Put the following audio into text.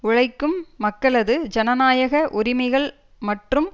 உழைக்கும் மக்களது ஜனநயாக உரிமைகள் மற்றும்